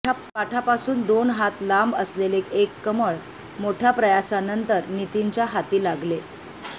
काठापासून दोन हात लांब असलेले एक कमळं मोठ्या प्रयासानंतर नितीनच्या हाती लागले